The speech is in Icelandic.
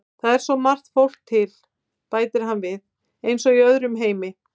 Það er svo margt fólk til, bætir hann við, eins og í öðrum heimi.